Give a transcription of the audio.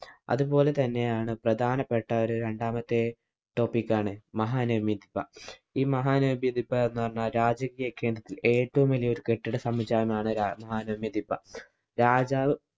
അത് പോലെ തന്നെയാണ് പ്രധാനപ്പെട്ട ഒരു രണ്ടാമത്തെ topic ആണ് മഹാനവമി ദിബ്ബ. ഈ മഹാനവമി ദിബ്ബ എന്ന് പറഞ്ഞാല്‍ രാജകീയ കേന്ദ്രത്തില്‍ ഏറ്റവും വലിയ ഒരു കെട്ടിടസമുച്ചയമാണ്‌ മഹാനവമി ദിബ്ബ. രാജാവ്